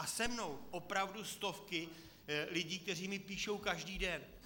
A se mnou opravdu stovky lidí, kteří mi píší každý den.